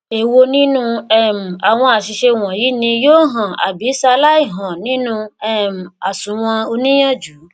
èwo nínu um àwọn àṣìṣe wọnyí ni yóò hàn àbí ṣalái hàn nínu um àsunwon oníìyànjú